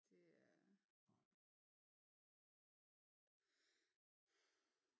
Det er